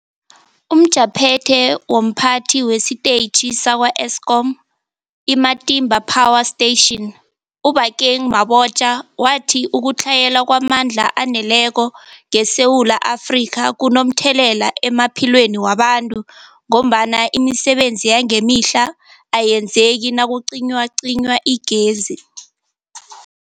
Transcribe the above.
UmJaphethe womPhathi wesiTetjhi sakwa-Eskom i-Matimba Power Station u-Obakeng Mabotja wathi ukutlhayela kwamandla aneleko ngeSewula Afrika kunomthelela emaphilweni wabantu ngombana imisebenzi yangemihla ayenzeki nakucinywacinywa igezi.